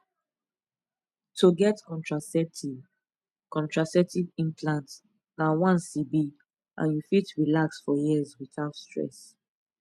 to get contraceptive contraceptive implant na once e be and you fit relax for years without stress